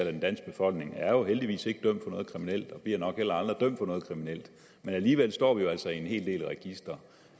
af den danske befolkning er jo heldigvis ikke dømt for noget kriminelt og bliver nok heller aldrig dømt for noget kriminelt men alligevel står vi jo altså i en hel del registre